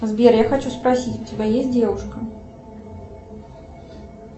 сбер я хочу спросить у тебя есть девушка